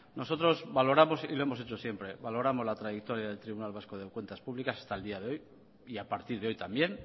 nosotros valoramos y lo hemos hecho siempre valoramos la trayectoria del tribunal vasco de cuentas públicas hasta el día de hoy y a partir de hoy también